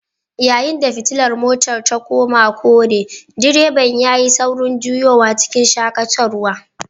Yayin da fitilar motar ta koma kore direban yayi saurin juyowa cikin shakatarwa